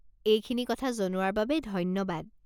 এইখিনি কথা জনোৱাৰ বাবে ধন্যবাদ।